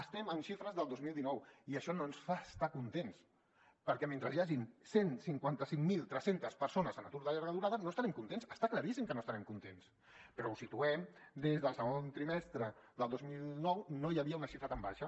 estem en xifres del dos mil dinou i això no ens fa estar contents perquè mentre hi hagi cent i cinquanta cinc mil tres cents persones en atur de llarga durada no estarem contents està claríssim que no estarem contents però ho situem des del segon trimestre del dos mil nou no hi havia una xifra tan baixa